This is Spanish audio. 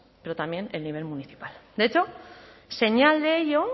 pero también el nivel municipal de hecho señal de ello